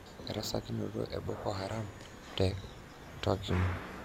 Erasakinoto e Boko Haram te takwimu.